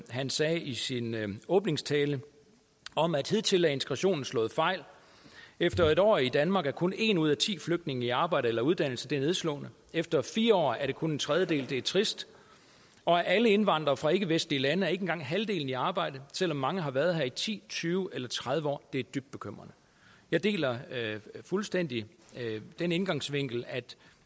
han sagde i sin åbningstale om at hidtil er integrationen slået fejl efter en år i danmark er kun en ud af ti flygtninge i arbejde eller uddannelse og det er nedslående efter fire år er det kun en tredjedel og det er trist og af alle indvandrere fra ikkevestlige land er ikke engang halvdelen i arbejde selv om mange har været her i ti tyve eller tredive år det er dybt bekymrende jeg deler fuldstændig den indgangsvinkel at